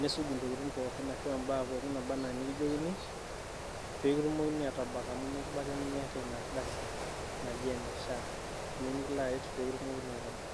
nitum atuja Intokitin pookin arashu ibaa pookin nikijokini pee kitumokini aatabak amu mekibaiki Miata Ina ardasi naji ene SHA ninye nikilo aret pee kitumokini aatabak.